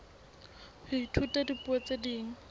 ho ithuta dipuo tse ding